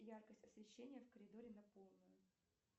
яркость освещения в коридоре на полную